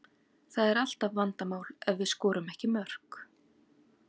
Það er alltaf vandamál ef við skorum ekki mörk.